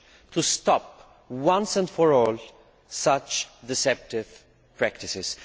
to stop once and for all such deceptive practices.